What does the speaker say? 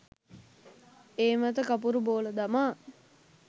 ඒ මත කපුරු බෝල දමා